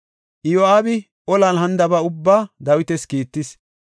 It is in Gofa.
Iyo7aabi olan hanidaba ubbaa Dawitas kiittis.